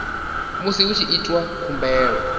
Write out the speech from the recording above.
musi hu tshi itwa khumbelo